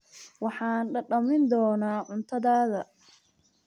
Waxaan dhadhamin doonaa cuntadaada.